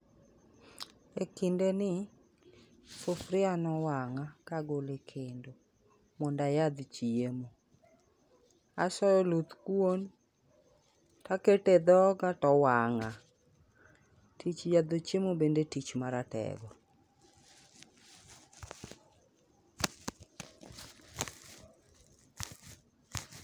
E kinde ni, sufria nowang'a ka agolo e kendo, mondo ayadh chiemo. Asoyo oluth kuon, takete e dhoga, towang'a. Tich yadho chiemo bende tich ma ratego.